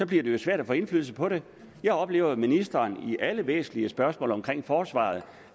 det jo svært at få indflydelse på det jeg oplever at ministeren i alle væsentlige spørgsmål omkring forsvaret